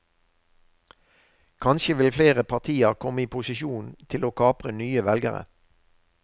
Kanskje vil flere partier komme i posisjon til å kapre nye velgere.